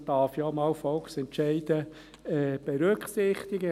Für einmal darf man Volksentscheide ja auch berücksichtigen.